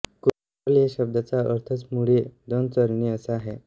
कुरल या शब्दाचा अर्थच मुळी दोन चरणी असा आहे